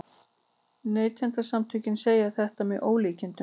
Neytendasamtökin segja þetta með ólíkindum